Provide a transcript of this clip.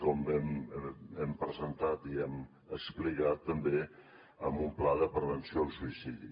com hem presentat i hem explicat també en un pla de prevenció del suïcidi